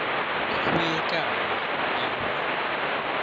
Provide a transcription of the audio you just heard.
go ye kae ya ba